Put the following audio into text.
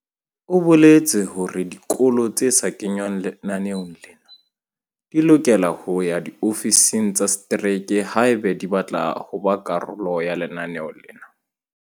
O boletse hore dikolo tse sa kengwang lenaneong lena di lokela ho ya diofising tsa setereke haeba di batla ho ba karolo ya lenaneo lena.